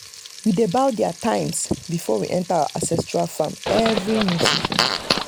we dey bow there times before we enter our ancestral farmland every new season.